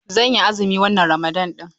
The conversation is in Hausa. Zan yi azumi wannan Ramadan ɗin.